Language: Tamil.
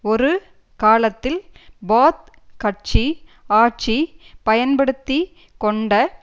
ஒரு காலத்தில் பாத் கட்சி ஆட்சி பயன்படுத்தி கொண்ட